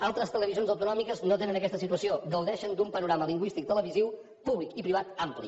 altres televisions autonòmiques no tenen aquesta situació gaudeixen d’un panorama lingüístic televisiu públic i privat ampli